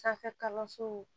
Sanfɛ kalansow